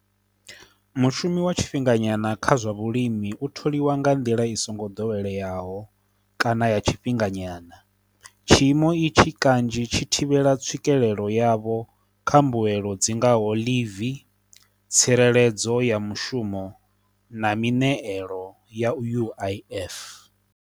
Mushumi wa tshifhinganyana kha zwa vhulimi u tholiwa nga nḓila i songo doweleyaho kana ya tshifhinganyana, tshiimo i tshi kanzhi tshi thivhela tswikelelo yavho kha mbuelo dzi ngaho ḽivi, tsireledzo ya mushumo, na mineeḽo ya uif.